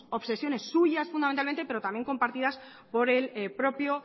obsesiones suyas fundamentalmente pero también compartidas por el propio